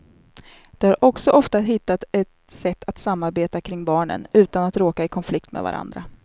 De har också ofta hittat ett sätt att samarbeta kring barnen, utan att råka i konflikt med varandra.